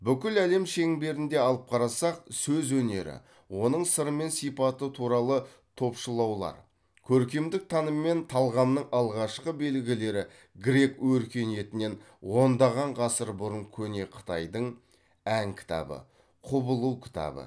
бүкіл әлем шеңберінде алып қарасақ сөз өнері оның сыры мен сипаты туралы топшылаулар көркемдік таным мен талғамның алғашқы белгілері грек өркениетінен ондаған ғасыр бұрын көне қытайдың ән кітабы құбылу кітабы